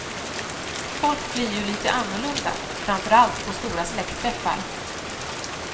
Folk blir ju lite annorlunda, framför allt på stora släktträffar.